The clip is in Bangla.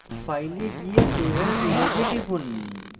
file এ go save as image এ টিপুন